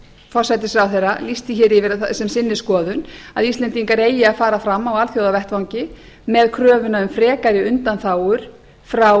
forsætisráðherra lýst því hér yfir sem sinni skoðun að íslendingar eigi að fara fram á alþjóðavettvangi með kröfuna um frekari undanþágur frá